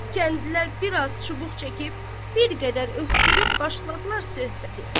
Kəndlilər biraz çubuq çəkib, bir qədər öskürüb başladılar söhbətə.